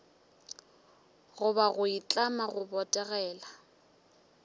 goba go itlama go botegela